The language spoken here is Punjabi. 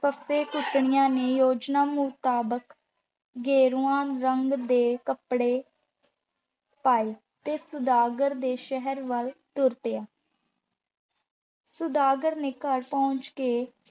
ਫੱਫੇ-ਕੁੱਟਣੀਆਂ ਨੇ ਯੋਜਨਾ ਮੁਤਾਬਕ ਗੇਰੂਏ ਰੰਗ ਦੇ ਕੱਪੜੇ ਪਾਏ ਤੇ ਸੁਦਾਗਰ ਦੇ ਸ਼ਹਿਰ ਵੱਲ ਤੁਰ ਪਿਆ। ਸੁਦਾਗਰ ਦੇ ਘਰ ਪਹੁੰਚ ਕੇ